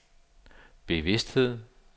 bevidsthed